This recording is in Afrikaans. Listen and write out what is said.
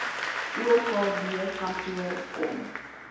okd kantoor kom